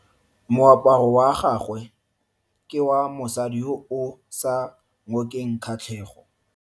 Moaparo wa gagwe ke wa mosadi yo o sa ngokeng kgatlhego.